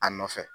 A nɔfɛ